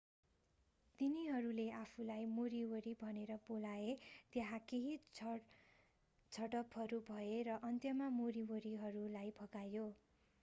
तिनीहरूले आफूलाई मोरीओरी भनेर बोलाए त्यहाँ केही झडपहरू भए र अन्त्यमा मोरीओरीहरूलाई भगाइयो